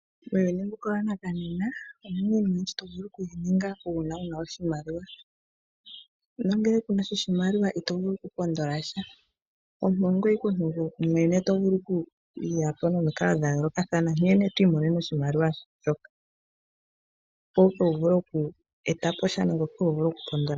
Muuyuni mbuka wa nakanena omuna iinima oyindji to vulu okuyi ninga uuna wuna oshimaliwa nena ngele kunasha oshimaliwa ito vulu oku pondolasha. Omuntu ongweye ike mwene to vulu oku yapo nomikalo dha yoolokathana nkene twiimonene oshimaliwa shoka, opo ike wu vule oku etapo sha nenge oku pondolasha.